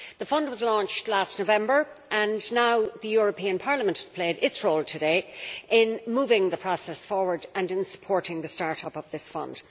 The fund was launched last November and Parliament has played its role today in moving the process forward and in supporting the start up of this fund.